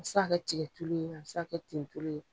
A bi se ka kɛ tikɛ tulu ye, a bi se ka ten tulu ye.